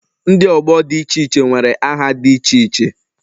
Ndi ọgbọ dị iche iche nwere aha dị iche iche